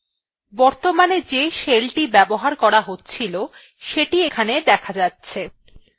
বর্তমানে যে shellthe ব্যবহার করা হচ্ছিল সেটি এখানে দেখা যাচ্ছে